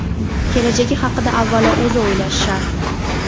Kelajagi haqida avvalo o‘zi o‘ylashi shart.